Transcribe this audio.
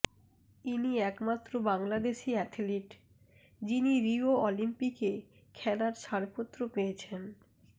ইনি একমাত্র বাংলাদেশি অ্যাথলিট যিনি রিও অলিম্পিকে খেলার ছাড়পত্র পেয়েছেন